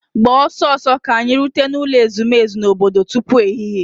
Gbaa ọsọ ọsọ ka anyị rute n'ụlọ ezumezu obodo tupu ehihie!.